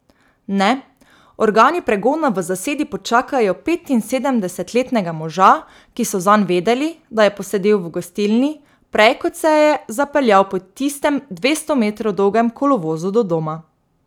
Ne, organi pregona v zasedi počakajo petinsedemdesetletnega moža, ki so zanj vedeli, da je posedel v gostilni, prej kot se je zapeljal po tistem dvesto metrov dolgem kolovozu do doma.